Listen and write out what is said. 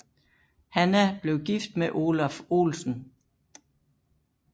Hanna blev gift med Olaf Olsen